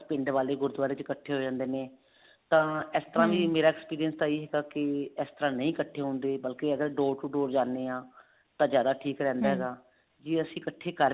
ਪਿੰਡ ਵਾਲੇ ਗੁਰੁਦਵਾਰੇ ਚ ਇੱਕਠੇ ਹੋ ਜਾਂਦੇ ਨੇ ਤਾਂ ਇਸ ਤਰ੍ਹਾਂ ਵੀ ਮੇਰਾ experience ਵੀ ਇਹੀ ਹੈਗਾ ਵੀ ਇਸ ਤਰ੍ਹਾਂ ਨਹੀਂ ਇੱਕਠੇ ਹੁੰਦੇ ਬਲਕਿ ਅਗਰ door to door ਜਾਂਦੇ ਹਾਂ ਤਾਂ ਜ਼ਿਆਦਾ ਠੀਕ ਰਹਿੰਦਾ ਹੈਗਾ ਜੇ ਅਸੀਂ ਇਕੱਠੇ ਕਰ